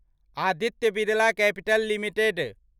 Aditya Birla Capital limited